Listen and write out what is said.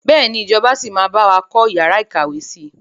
Bẹ́ẹ̀ni ìjọba síí máa bawa kọ́ yàrá ìkàwé si.